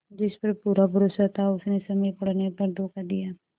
जिस पर पूरा भरोसा था उसने समय पड़ने पर धोखा दिया